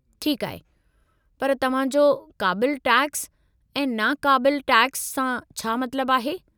ठीकु आहे, पर तव्हां जो "क़ाबिलु टैक्सु" ऐं "नाक़ाबिलु टैक्सु" सां छा मतिलबु आहे?